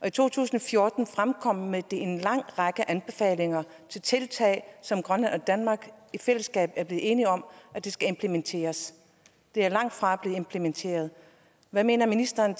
i to tusind og fjorten kom med en lang række anbefalinger til tiltag som grønland og danmark i fællesskab er blevet enige om skal implementeres de er langtfra blevet implementeret hvad mener ministeren